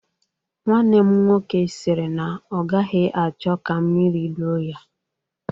Nwanne m nwoke sịrị na ọ gaghị achọ ka mmiri loo ya